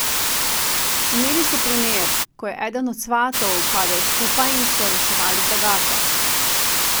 Imeli so primer, ko je eden od svatov padel skupaj in so reševali zagato.